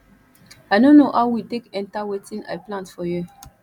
i no know how weed take enter wetin i plant for here